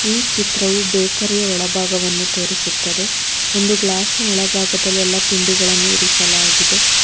ಈ ಚಿತ್ರವು ಬೇಕರಿಯ ಒಳಭಾಗವನ್ನು ತೋರಿಸುತ್ತದೆ ಒಂದು ಗ್ಲಾಸ್ ನ ಒಳಭಾಗದಲ್ಲಿ ಎಲ್ಲಾ ತಿಂಡಿಗಳು ಇಟ್ಟಿದ್ದಾರೆ.